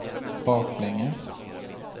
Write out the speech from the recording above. baklänges